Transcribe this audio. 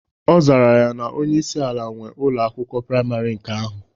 Ọ zara ya na onyeisi ala nwee Ụlọ akwụkwọ praịmarị nke ahụ.